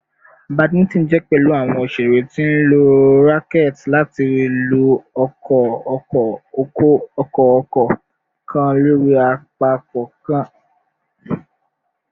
Badminton jẹ pẹlu awọn oṣere ti nlo awọn racquets lati lu ọkọ-ọkọ-ọkọ-ọkọ kan lori apapọ kan